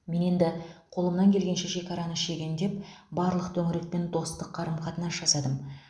мен енді қолымнан келгенше шекараны шегендеп барлық төңірекпен достық қарым қатынас жасадым